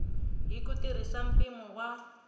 hi ku tirhisa mpimo wa